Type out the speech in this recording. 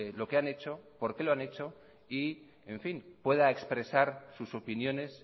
lo que han hecho por qué lo han hecho y pueda expresar sus opiniones